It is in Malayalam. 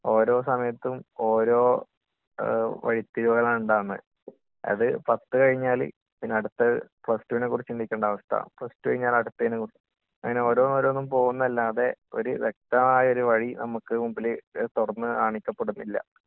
ഓരോ സമയത്തും ഓരോ വഴിത്തിരിവുകളാണ് ഉണ്ടാവുന്നത്.അത്, പത്ത് കഴിഞ്ഞാല് പിന്നെ അടുത്ത പ്ലസ് ടു വിനെ കുറിച്ച് ചിന്തിക്കേണ്ട അവസ്ഥ, പ്ലസ് ടു കഴിഞ്ഞാല് അടുത്തതിനെ കുറിച്ച്...അങ്ങനെ ഓരോന്നോരോന്നും പോകുന്നതല്ലാതെ ഒര് വ്യക്തമായൊരു വഴി നമുക്ക് മുന്നില് തുറന്നുകാണിക്കപ്പെടുന്നില്ല.